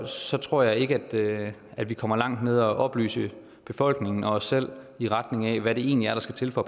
så tror jeg ikke at vi kommer langt med at oplyse befolkningen og os selv i retning af hvad det egentlig er der skal til for